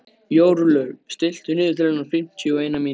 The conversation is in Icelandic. Jórlaug, stilltu niðurteljara á fimmtíu og eina mínútur.